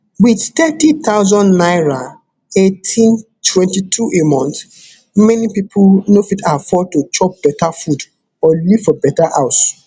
wit thirty thousand naira eighteen twenty-two a month many pipo no fit afford to chop better food or live for better house